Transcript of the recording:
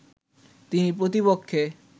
তিনি প্রতিপক্ষের